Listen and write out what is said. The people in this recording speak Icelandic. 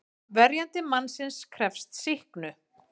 Verjandi mannsins krefst sýknu.